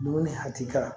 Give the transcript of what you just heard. Dumuni hakili kan